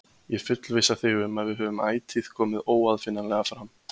Ég fullvissa þig um að við höfum ætíð komið óaðfinnanlega fram.